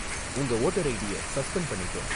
உங்க வோட்டர் ஐடிய சஸ்பெண்ட் பண்ணிட்டோம்